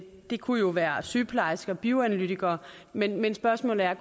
det kunne jo være sygeplejersker og bioanalytikere men men spørgsmålet er